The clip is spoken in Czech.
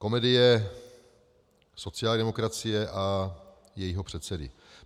Komedie sociální demokracie a jejího předsedy.